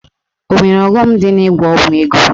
Ọ nwere ọghọm dị n'ịgwọ ọgwụ ego?